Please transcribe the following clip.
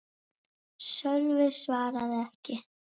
Sölvi svaraði ekki.